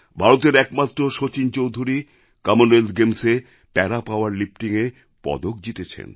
ভারতের একমাত্র সচিন চৌধুরী কমনওয়েলথ গেমসএ প্যারা পাওয়ার লিফটিংএ পদক জিতেছেন